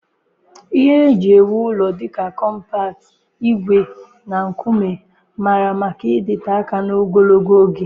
Ihe eji ewu ụlọ dị ka kọmpat, ígwè na nkume mara maka ịdịte aka na ogologo oge